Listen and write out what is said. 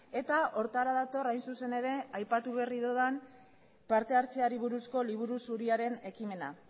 eta horretara dator hain zuzen ere aipatu berri dudan partehartzeari buruzko liburu zuriaren ekimena